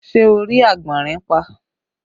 Ṣé ẹ rí àgbọ̀nrín pa?